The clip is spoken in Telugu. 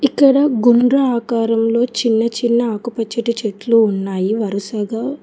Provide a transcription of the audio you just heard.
ఇక్కడ గుండ్రా ఆకారంలో చిన్న చిన్న ఆకుపచ్చటి చెట్లు ఉన్నాయి వరుసగా.